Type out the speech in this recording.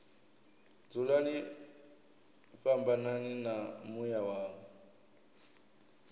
dzulani fhambanani na muya wanga